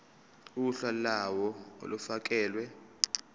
uhla lawo olufakelwe